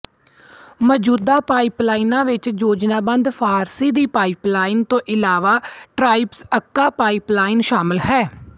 ਮੌਜੂਦਾ ਪਾਈਪਲਾਈਨਾਂ ਵਿੱਚ ਯੋਜਨਾਬੱਧ ਫ਼ਾਰਸੀ ਦੀ ਪਾਈਪਲਾਈਨ ਤੋਂ ਇਲਾਵਾ ਟਾਬ੍ਰੀਜ਼ਅੰੱਕਾ ਪਾਈਪਲਾਈਨ ਸ਼ਾਮਲ ਹੈ